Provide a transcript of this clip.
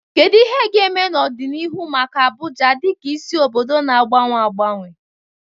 Kedu ihe ga-eme n'ọdịnihu maka Abuja dịka isi obodo na-agbanwe agbanwe?